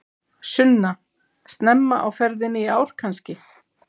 Sunna: Snemma á ferðinni í ár kannski?